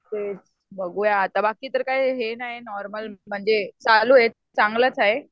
तेच बघूया आता, बाकी तर काही हे नाही नॉर्मल म्हणजे चालू ये चांगलंच आहे.